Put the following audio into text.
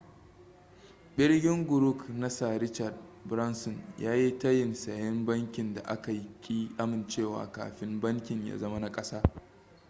ɓirgin grouƙ na sir richard branson ya yi tayin sayen bankin da aka ƙi amincewa kafin bankin ya zama na kasa